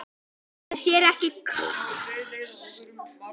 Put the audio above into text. Er þér ekki kalt?